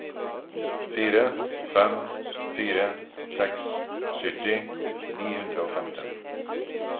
fire fem fire seks sytti ni hundre og femten